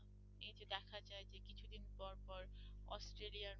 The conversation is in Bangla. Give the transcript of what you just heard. অস্ট্রেলিয়া